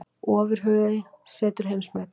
Ofurhugi setur heimsmet